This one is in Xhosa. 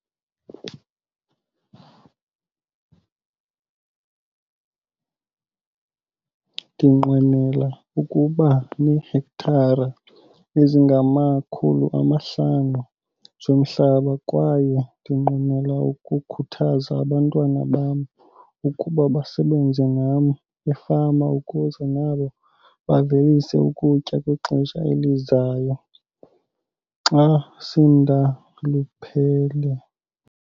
Ndinqwenela ukuba neehektare ezingama-500 zomhlaba kwaye ndinqwenela ukukhuthaza abantwana bam ukuba basebenze nam efama ukuze nabo bavelise ukutya kwixesha elizayo, xa sendaluphele.